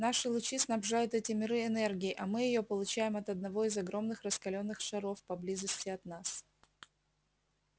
наши лучи снабжают эти миры энергией а мы её получаем от одного из огромных раскалённых шаров поблизости от нас